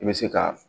I bɛ se ka